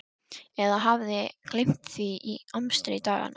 Eða hafði gleymt því í amstri daganna.